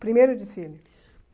Primeiro desfile?